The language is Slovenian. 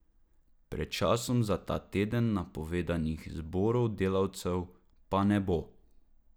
Pred časom za ta teden napovedanih zborov delavcev pa ne bo.